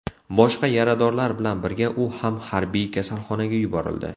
Boshqa yaradorlar bilan birga u ham harbiy kasalxonaga yuborildi.